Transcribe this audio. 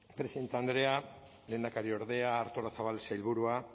presidente andrea lehendakariordea artolazabal sailburua